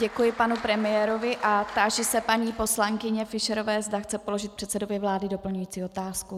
Děkuji panu premiérovi a táži se paní poslankyně Fischerové, zda chce položit předsedovi vlády doplňující otázku.